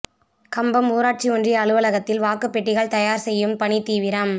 கம்பம் ஊராட்சி ஒன்றிய அலுவலகத்தில் வாக்குப் பெட்டிகள் தயாா் செய்யும் பணி தீவிரம்